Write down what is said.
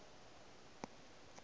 di mo ja pelong ka